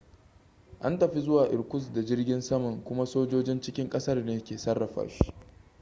an tafi zuwa irkutsk da jirgin saman kuma sojojin cikin ƙasar ne ke sarrafa shi